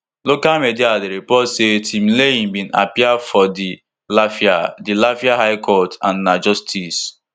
local media dey report say timileyin bin appear for di lafia di lafia high court and na justice